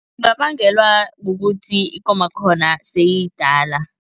Kungabangelwa kukuthi ikomakhona seyiyidala.